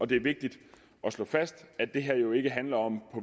det er vigtigt at slå fast at det her jo ikke handler om